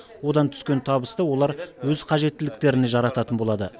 одан түскен табысты олар өз қажеттіліктеріне жарататын болады